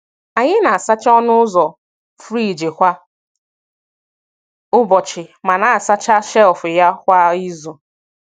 Anyị na-asacha ọnụ ụzọ friji kwa ụbọchị ma na-asacha shelf ya kwa izu.